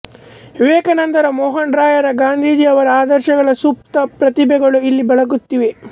ವಿವೇಕಾನಂದರ ಮೋಹನ್ ರಾಯರ ಗಾಂಧೀಜಿಯವರ ಆದರ್ಶಗಳ ಸುಪ್ತ ಪ್ರತಿಭೆಗಳು ಇಲ್ಲಿ ಬೆಳಗುತ್ತಿವೆ